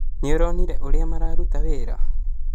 Nĩũronire ũrĩa mararuta wĩra?